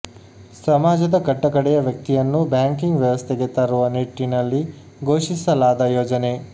ಸಮಾಜದ ಕಟ್ಟ ಕಡೆಯ ವ್ಯಕ್ತಿಯನ್ನೂ ಬ್ಯಾಂಕಿಂಗ್ ವ್ಯವಸ್ಥೆಗೆ ತರುವ ನಿಟ್ಟಿನಲ್ಲಿ ಘೋಷಿಸಲಾದ ಯೋಜನೆ